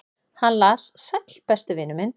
"""Hann las: Sæll, besti vinur minn."""